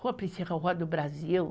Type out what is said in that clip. Rua, Rua do Brasil.